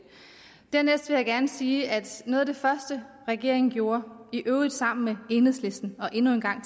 dernæst vil jeg gerne sige at noget af det første regeringen gjorde i øvrigt sammen med enhedslisten og endnu en gang